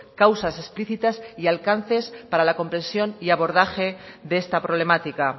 causas explicitas y alcances para la comprensión y abordaje de esta problemática